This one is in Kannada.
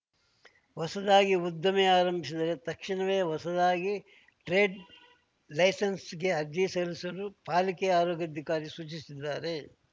ಹೊಸದಾಗಿ ಉದ್ದಿಮೆ ಆರಂಭಿಸಿದ್ದರೆ ತಕ್ಷಣವೇ ಹೊಸದಾಗಿ ಟ್ರೇಡ್‌ ಲೈಸೆನ್ಸ್‌ಗೆ ಅರ್ಜಿ ಸಲ್ಲಿಸಲು ಪಾಲಿಕೆ ಆರೋಗ್ಯಾಧಿಕಾರಿ ಸೂಚಿಸಿದ್ದಾರೆ